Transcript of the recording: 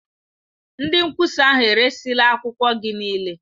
Ndị nkwụsa ahụ eresịla akwụkwọ gị niile.